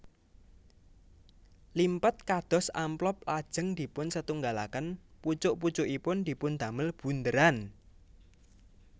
Limpet kados amplop lajeng dipunsetunggalaken pucuk pucukipun dipundamel bundheran